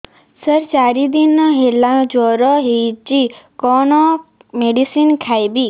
ସାର ଚାରି ଦିନ ହେଲା ଜ୍ଵର ହେଇଚି କଣ ମେଡିସିନ ଖାଇବି